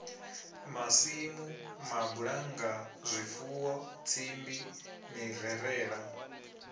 masimu mabulannga zwifuwo tsimbi mirerala